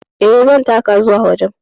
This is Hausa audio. E, zan taka zuwa wajen.